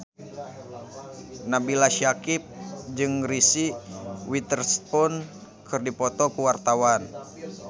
Nabila Syakieb jeung Reese Witherspoon keur dipoto ku wartawan